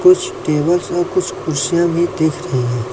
कुछ टेबल और कुछ कुर्सियां भी देख रही है।